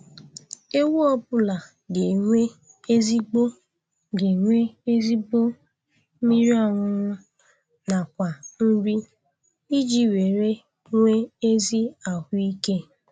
Ewu ọbụla ga enwe ezigbo ga enwe ezigbo mmiri ọṅụṅụ nakwa nri iji were nwee ezi ahụike